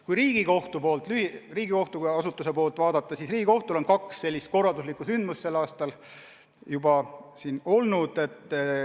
Kui Riigikohtu kui asutuse tegevust vaadata, siis Riigikohtul on tänavu olnud juba kaks suurt sündmust.